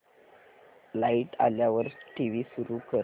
light आल्यावर TV सुरू कर